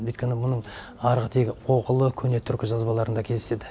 өйткені мұның арғы тегі оғлы көне түркі жазбаларында кездеседі